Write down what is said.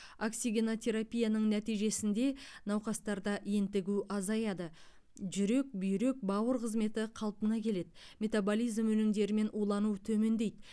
оксигенотерапияның нәтижесінде науқастарда ентігу азаяды жүрек бүйрек бауыр қызметі қалпына келеді метаболизм өнімдерімен улану төмендейді